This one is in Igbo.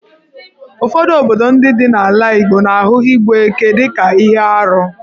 Ụfọdụ obodo ndị dị n'ala Igbo na-ahụ igbu ekè dị ka ihe arụ.